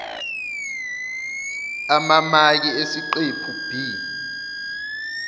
amamaki esiqephu b